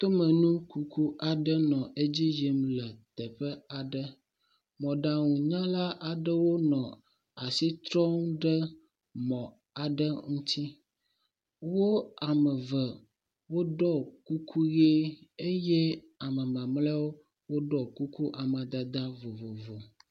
Tomenukuku aɖe nɔ edzi yim le teƒe aɖe, mɔɖaŋunyala aɖewo nɔ asitrɔm ɖe mɔ aɖe ŋuti. Wo ame eve woɖɔ kukui ʋe eye ame mamleawo woɖɔ kuku amadede vovovo.